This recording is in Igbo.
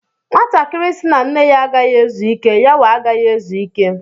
Nwatakịrị sị na nne ya agaghi ezu ike, yawa agaghị ezuike.